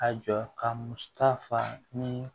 A jɔ ka musaka fa ni